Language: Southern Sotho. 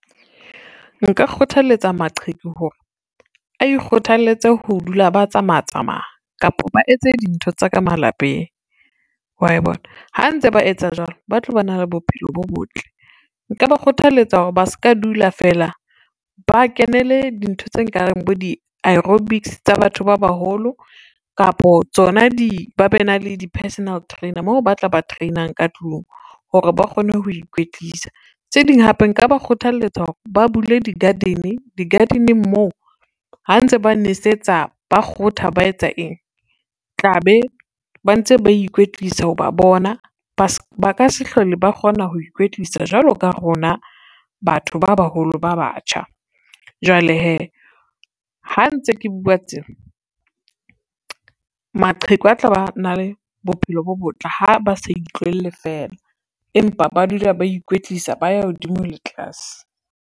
Nka kgothaletsa maqheku hore, a ikgothaletse ho dula ba tsamaya tsamaya, kapo ba etse dintho tsa ka malapeng wa e bona. Ha ntse ba etsa jwalo, ba tlo ba na le bophelo bo botle, nka ba kgothaletsa hore ba ska dula feela ba kenele di ntho tse kareng bo di-aerobics tsa batho ba baholo, kapa tsona ]?] ba be na le di-personal trainer moo ba tla ba train-ang ka tlung hore ba kgone ho ikwetlisa. Tse ding hape nka ba kgothaletsa hore ba bule di-garden, di-garden-eng moo ha ntse ba nesetsa, ba kgotha, ba etsa eng tla be ba ntse ba ikwetlisa o ba bona ba ka se hlole ba kgona ho ikwetlisa jwalo ka rona batho ba baholo ba batjha. Jwale hee, ha ntse ke bua tse, maqheku a tla ba na le bophelo bo botle ha ba sa itlohele fela, empa ba dula ba ikwetlisa ba ya hodimo le tlase.